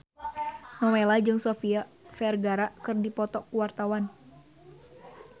Nowela jeung Sofia Vergara keur dipoto ku wartawan